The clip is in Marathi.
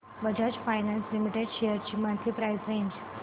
बजाज फायनान्स लिमिटेड शेअर्स ची मंथली प्राइस रेंज